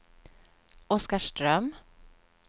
Oskarström